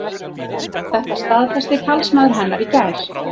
Þetta staðfesti talsmaður hennar í gær